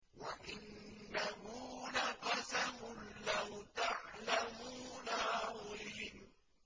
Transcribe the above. وَإِنَّهُ لَقَسَمٌ لَّوْ تَعْلَمُونَ عَظِيمٌ